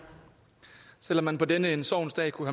selv om man på denne sorgens dag kunne